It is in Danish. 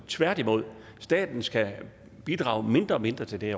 tværtimod staten skal bidrage mindre og mindre til det